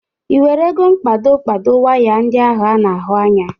Ị werego mkpado kpado waya ndị ahụ a na-ahụ anya?